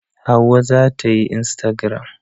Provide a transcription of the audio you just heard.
Hauwa za ta yi instagaram.